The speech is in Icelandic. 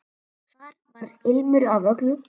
Þar var ilmur af öllu.